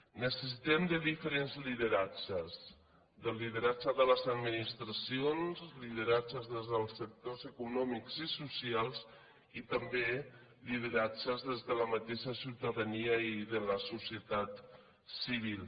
necessitem diferents lideratges lideratge de les administracions lideratges des dels sectors econòmics i socials i també lideratges des de la mateixa ciutadania i de la societat civil